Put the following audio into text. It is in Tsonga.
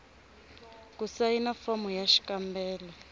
ku sayina fomo ya xikombelo